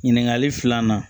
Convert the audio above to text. Ɲininkali filanan